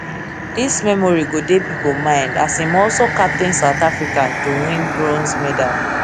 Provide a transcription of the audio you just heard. dis memory go dey pipo ind as im also captain south africa to win bronze medal